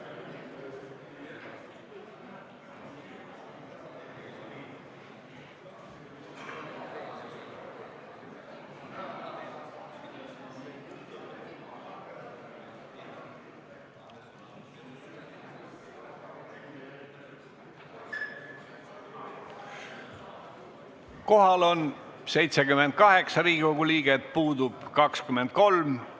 Kohaloleku kontroll Kohal on 78 Riigikogu liiget, puudub 23.